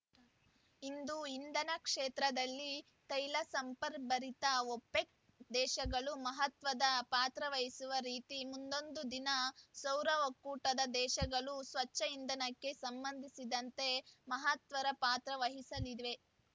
ಇಂದು ಇಂಧನ ಕ್ಷೇತ್ರದಲ್ಲಿ ತೈಲ ಸಂಪದ್ಭರಿತ ಒಪೆಕ್‌ ದೇಶಗಳು ಮಹತ್ವದ ಪಾತ್ರ ವಹಿಸುವ ರೀತಿ ಮುಂದೊಂದು ದಿನ ಸೌರ ಒಕ್ಕೂಟದ ದೇಶಗಳು ಸ್ವಚ್ಛ ಇಂಧನಕ್ಕೆ ಸಂಬಂಧಿಸಿದಂತೆ ಮಹತ್ತರ ಪಾತ್ರ ವಹಿಸಲಿದ್ವೆ